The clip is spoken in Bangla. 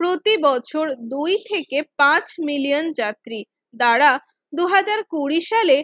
প্রতিবছর দুই থেকে পাঁচ মিলিয়ন যাত্রী দাঁড়া দুই হাজার কুঁড়ি সালে